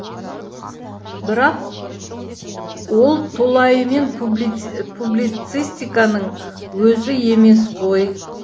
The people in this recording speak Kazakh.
бірақ ол толайымен публицистиканың өзі емес қой